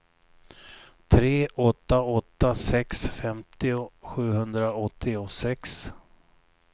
tre åtta åtta sex femtio sjuhundraåttiosex